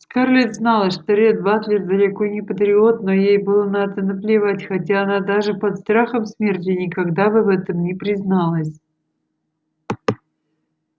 скарлетт знала что ретт батлер далеко не патриот но ей было на это наплевать хотя она даже под страхом смерти никогда бы в этом не призналась